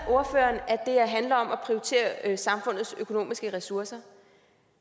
det her handler om at prioritere samfundets økonomiske ressourcer